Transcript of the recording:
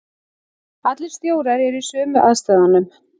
Allir stjórar eru í sömu aðstæðunum.